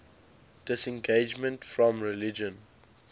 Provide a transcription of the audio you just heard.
disengagement from religion